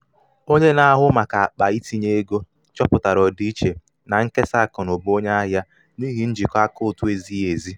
onye na-ahụ maka akpa itinye ego chọpụtara ọdịiche na nkesa akụnụba onye ahịa n’ihi njikọ akaụntụ ezighi ezi.